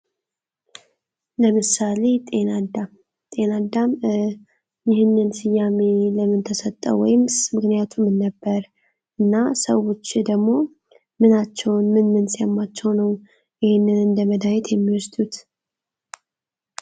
ለምሳሌ ጤና ጤና ይህንን ስያሜ ለምን ተሰጠው ወይስ ምክንያቱም ነበር እና ሰዎችን ደግሞ ምን ምናቸው ሲያማቸው ነው የሚወስዱት ?